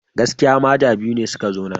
Gaskiya! maja biyu ne suka zo nan.